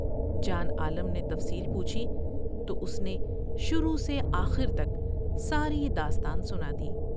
جوان عالم نے تفصیل پوچھی تو اس نے شروع سے آخر تک ساری داستان سنادی ۔